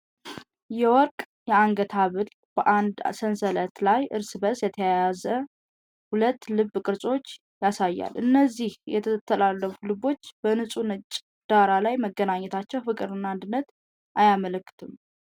የወርቅ የአንገት ሐብል በአንድ ሰንሰለት ላይ እርስ በርስ የተያያዙ ሁለት ልብ ቅርጾችን ያሳያል፤ እነዚህ የተጠላለፉ ልቦች በንፁህ ነጭ ዳራ ላይ መገኘታቸው ፍቅርንና አንድነትን አያመለክትም?